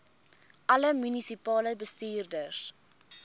alle munisipale bestuurders